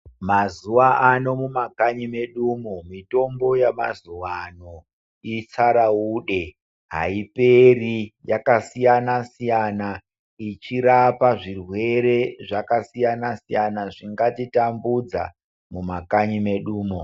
Mazuwa ano mumakanyi medumo, mitombo yamazuwa ano itsaraude ,aiperi yakasiyana-siyana, ichirapa zvirwere zvakasiyana-siyana zvingatitambudza mumakanyi mwedumo.